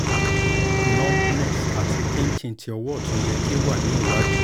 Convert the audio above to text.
numbness ati ti pinching ti ọwọ ọtun yẹ ki o wa ni iwadi